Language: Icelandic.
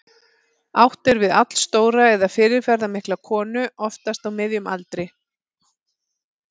Átt er við allstóra eða fyrirferðarmikla konu, oftast á miðjum aldri.